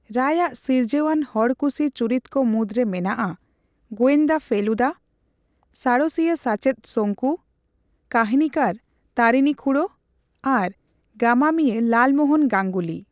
ᱨᱟᱭ ᱟᱜ ᱥᱤᱨᱡᱟᱹᱣ ᱟᱱ ᱦᱚᱲᱠᱩᱥᱤ ᱪᱚᱨᱤᱛ ᱠᱚ ᱢᱩᱫᱽᱨᱮ ᱢᱮᱱᱟᱜᱼᱟ ᱜᱚᱸᱭᱫᱟ ᱯᱷᱮᱞᱩᱫᱟ, ᱥᱟᱬᱮᱥᱤᱭᱟᱹ ᱥᱟᱪᱮᱫ ᱥᱚᱝᱠᱩ, ᱠᱟᱹᱦᱱᱤᱠᱟᱨ ᱛᱟᱨᱤᱱᱤ ᱠᱷᱩᱲᱳ ᱟᱨ ᱜᱟᱢᱟᱢᱤᱭᱟᱹ ᱞᱟᱞᱢᱳᱦᱚᱱ ᱜᱟᱝᱜᱩᱞᱤ ᱾